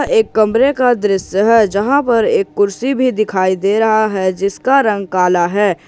एक कमरे का दृश्य है जहां पर एक कुर्सी भी दिखाई दे रहा है जिसका रंग काला है।